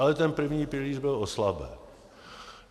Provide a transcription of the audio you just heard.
Ale ten první pilíř byl oslaben.